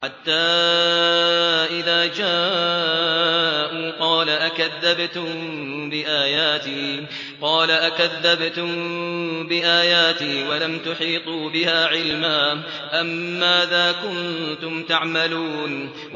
حَتَّىٰ إِذَا جَاءُوا قَالَ أَكَذَّبْتُم بِآيَاتِي وَلَمْ تُحِيطُوا بِهَا عِلْمًا أَمَّاذَا كُنتُمْ تَعْمَلُونَ